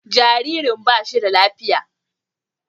Jaririn ba shi da lafiya.